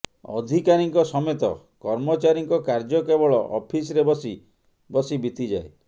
ଅଧିକାରୀଙ୍କ ସମେତ କର୍ମଚାରୀଙ୍କ କାର୍ଯ୍ୟ କେବଳ ଅଫିସ୍ରେ ବସି ବସି ବିତିଯାଏ